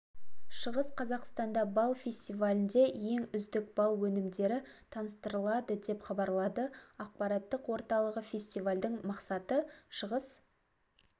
шығыс қазақстанда бал фестивалінде ең үздік бал өнімдері таныстырылады деп хабарлады ақпараттық орталығы фестивальдің мақсаты шығыс